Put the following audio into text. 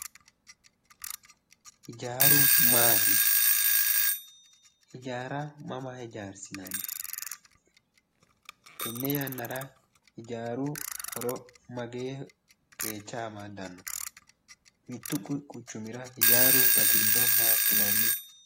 Ijaaru maati? ijaara mama ijaarsinanni? tenne yannara ijaaru horo magee qeecha amaddanno? mittu quchumira ijaaru batiriro makkinanni?